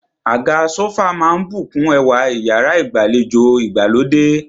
Àga sófà máà ń bùkún ẹwà iyàrá ìgbàlejò ìgbàlódé.